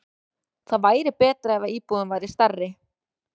Það væri betra ef íbúðin væri stærri.